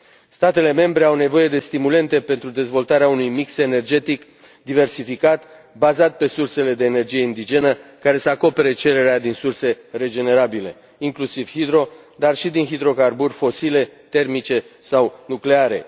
Statele membre au nevoie de stimulente pentru dezvoltarea unui mix energetic diversificat bazat pe sursele de energie indigenă care să acopere cererea din surse regenerabile, inclusiv hidro, dar și din hidrocarburi fosile, termice sau nucleare.